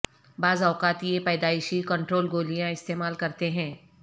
بعض اوقات یہ پیدائشی کنٹرول گولیاں استعمال کرتے ہیں